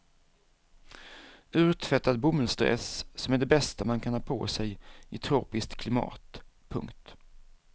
Urtvättad bomullsdress som är det bästa man kan ha på sej i tropiskt klimat. punkt